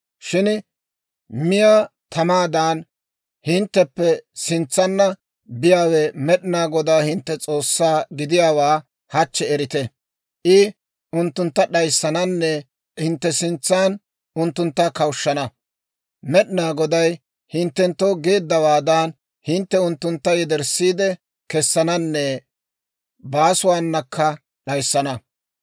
Shin miyaa tamaadan hintteppe sintsanna biyaawe Med'inaa Godaa hintte S'oossaa gidiyaawaa hachchi erite. I unttuntta d'ayissananne hintte sintsan unttuntta kawushshana. Med'inaa Goday hinttenttoo geeddawaadan hintte unttuntta yederssiide kessananne baasuwaanakka d'ayissana.